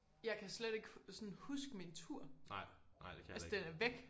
Jeg kan slet ikke sådan huske min tur altså den er væk!